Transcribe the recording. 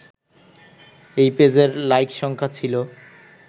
এই পেজের লাইক সংখ্যা ছিল